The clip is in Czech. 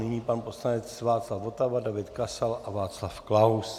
Nyní pan poslanec Václav Votava, David Kasal a Václav Klaus.